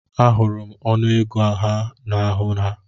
Ahụrụ ọnụego ha n'ahụ ha.